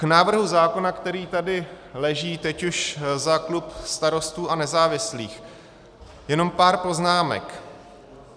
K návrhu zákona, který tady leží - teď už za klub Starostů a nezávislých - jenom pár poznámek.